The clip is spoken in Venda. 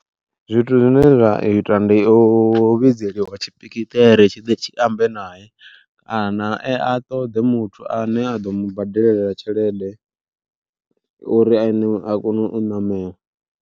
Zwithu zwine zwa ita ndi u vhidzeliwa tshipikiṱere tshi ḓe tshi ambe nae, kana a ṱoḓe muthu ane a ḓo mu badelela tshelede uri ene a kone u ṋamela.